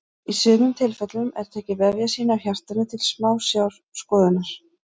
í sumum tilfellum er tekið vefjasýni af hjartanu til smásjárskoðunar